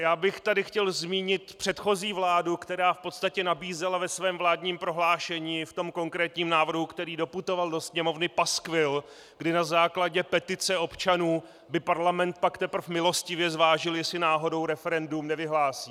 Já bych tady chtěl zmínit předchozí vládu, která v podstatě nabízela ve svém vládním prohlášení, v tom konkrétním návrhu, který doputoval do Sněmovny, paskvil, kdy na základě petice občanů by parlament pak teprve milostivě zvážil, jestli náhodou referendum nevyhlásí.